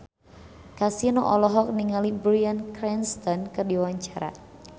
Kasino olohok ningali Bryan Cranston keur diwawancara